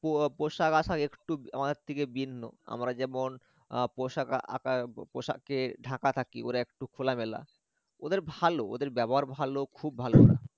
পো~ পোশাক একটু আমাদের থেকে ভিন্ন আমরা যেমন আহ পোশাক আকা~ ব~পোশাকে ঢাকা থাকি ওরা একটু খোলা মেলা ওদের ভাল ওদের ব্যবহার ভাল খুব ভাল ওরা